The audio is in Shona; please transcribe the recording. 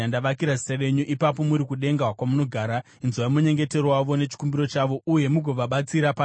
ipapo, muri kudenga, kwamunogara, inzwai munyengetero wavo nechikumbiro chavo, uye mugovabatsira pane zvavanorwira.